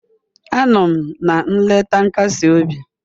Anọ m na nleta nkasi obi.